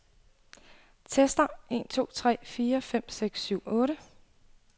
Tester en to tre fire fem seks syv otte.